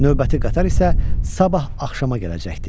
Növbəti qatar isə sabah axşama gələcəkdi.